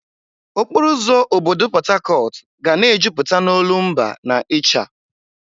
Okporo ụzọ obodo Port Harcourt ga na-ejupụta n'olumba na ịcha.